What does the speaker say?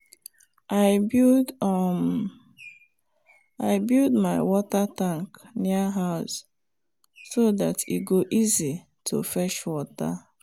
i build um my water tank near house so dat e go easy to fetch water.